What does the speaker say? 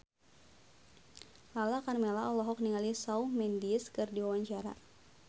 Lala Karmela olohok ningali Shawn Mendes keur diwawancara